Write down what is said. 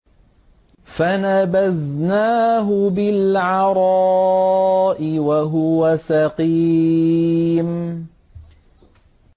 ۞ فَنَبَذْنَاهُ بِالْعَرَاءِ وَهُوَ سَقِيمٌ